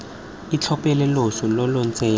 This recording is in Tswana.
itlhophela loso lo lo ntsenyang